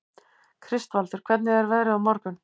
Kristvaldur, hvernig er veðrið á morgun?